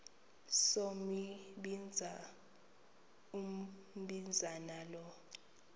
sombinza umbinza lo